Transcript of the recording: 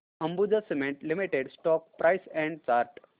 Ambuja cement limited stock price and chart